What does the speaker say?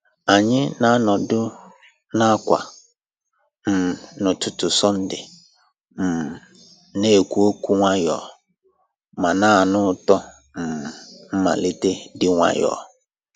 Anyị na-anọdụ n'àkwà um n'ụtụtụ Sọnde, um na-ekwu okwu nwayọọ ma na-anụ ụtọ um mmalite dị nwayọọ.